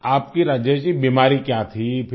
आपकी राजेश जी बीमारी क्या थी फिर